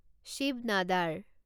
Shiva another